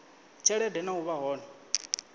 tshelede na u vha hone